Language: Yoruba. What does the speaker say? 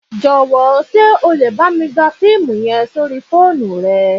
Jọ́wọ̀ sé o le bámi gba fiimu yen sórí fóònù rẹ